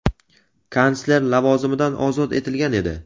kansler lavozimidan ozod etilgan edi.